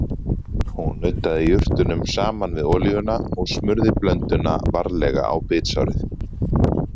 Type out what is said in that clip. Hún nuddaði jurtunum saman við olíuna og smurði blönduna varlega á bitsárið.